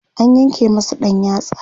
an yanke masa ɗan yatsa